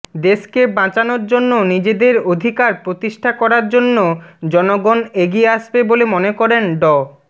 দেশকে বাঁচানোর জন্য নিজেদের অধিকার প্রতিষ্ঠা করার জন্য জনগণ এগিয়ে আসবে বলে মনে করেন ড